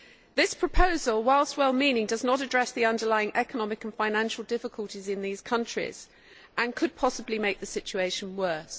This proposal, whilst well meaning, does not address the underlining economic and financial difficulties in these countries and could possibly make the situation worse.